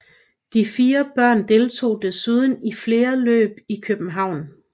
Deres fire børn deltog desuden i flere løb i København